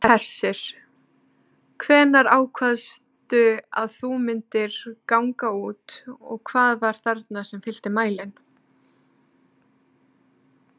Hersir: Hvenær ákvaðstu að þú myndir ganga út og hvað var þarna sem fyllti mælinn?